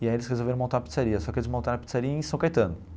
E aí eles resolveram montar uma pizzaria, só que eles montaram a pizzaria em São Caetano.